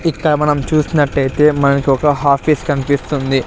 ఇక్కడ మనం చూసినట్టయితే మనకి ఒక హాఫీస్ కనిపిస్తుంది.